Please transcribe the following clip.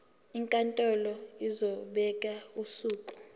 inkantolo izobeka usuku